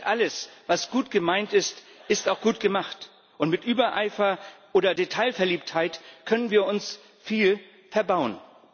Nicht alles, was gut gemeint ist, ist auch gut gemacht, und mit Übereifer oder Detailverliebtheit können wir uns viel verbauen.